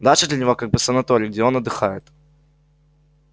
дача для него как бы санаторий где он отдыхает